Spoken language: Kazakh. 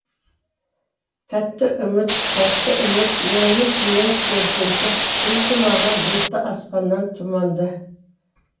тәтті үміт тәтті үміт мұңлы түннің перзенті келші маған бұлтты аспаннан тұманды